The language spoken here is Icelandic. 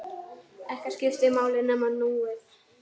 Ekkert skipti máli nema núið.